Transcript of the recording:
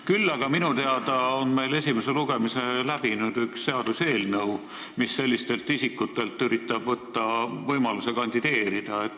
Küll aga on minu teada meil esimese lugemise läbi teinud üks seaduseelnõu, mis sellistelt isikutelt üritab võtta võimaluse kandideerida.